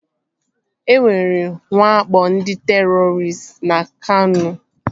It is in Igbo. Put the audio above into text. E nwere nwakpo ndị terọristị na Kano